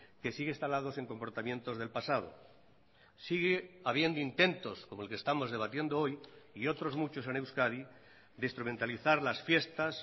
que sigue instalados en comportamientos del pasado sigue habiendo intentos como el que estamos debatiendo hoy y otros muchos en euskadi de instrumentalizar las fiestas